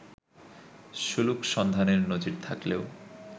সুলুক সন্ধানের নজির থাকলেও